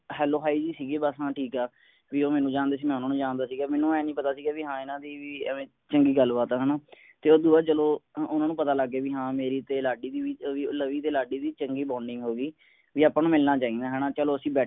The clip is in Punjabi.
hello hi ਜਿਹੀ ਸੀਗੀ ਬੱਸ ਹਾਂ ਠੀਕ ਹੈ ਵੀ ਉਹ ਮੈਨੂੰ ਜਾਂਦੇ ਸੀਗੇ ਮੈਂ ਉਨ੍ਹਾਂ ਨੂੰ ਜਾਂਦਾ ਸੀਗਾ ਮੈਨੂੰ ਇਹ ਨਹੀਂ ਪਤਾ ਸੀਗਾ ਵੀ ਹਾਂ ਇਨ੍ਹਾਂ ਦੀ ਵੀ ਐਵੈਂ ਚੰਗੀ ਗੱਲ ਬਾਤ ਹੈ ਹੈ ਨਾ। ਤੇ ਉਸਤੋਂ ਬਾਅਦ ਚਲੋ ਉਨ੍ਹਾਂਨੂੰ ਪਤਾ ਲੱਗ ਗਿਆ ਵੀ ਹਾਂ ਮੇਰੀ ਤੇ ਲਾਡੀ ਦੀ ਵੀ ਲਵੀ ਤੇ ਲਾਡੀ ਦੀ ਵੀ ਚੰਗੀ bonding ਹੋ ਗਈ ਵੀ ਆਪਾਂ ਨੂੰ ਮਿਲਣਾ ਚਾਹੀਦਾ ਹੈ ਨਾ ਚਲੋ ਅਸੀਂ ਬੈ